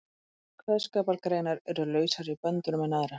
Sumar kveðskapargreinar eru lausari í böndunum en aðrar.